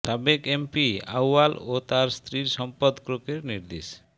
সাবেক এমপি আউয়াল ও তাঁর স্ত্রীর সম্পদ ক্রোকের নির্দেশ